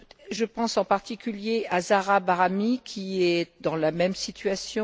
Je pense en particulier à Zahra Bahrami, qui est dans la même situation.